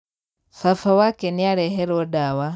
Baba wake nĩareherwo ndawa.